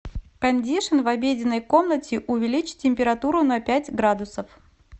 кондишн в обеденной комнате увеличь температуру на пять градусов